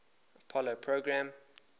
apollo program